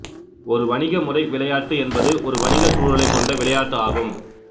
ஒரு வணிக முறை விளையாட்டு என்பது ஒரு வணிகச் சூழலைக் கொண்ட விளையாட்டு ஆகும்